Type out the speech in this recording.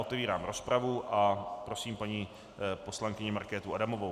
Otevírám rozpravu a prosím paní poslankyni Markétu Adamovou.